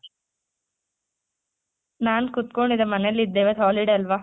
ನಾನ್ ಕೂತ್ಕೊಂಡಿದ್ದೆ ಮನೇಲಿದ್ದೆ ಇವತ್ತ್ holiday ಅಲ್ವಾ?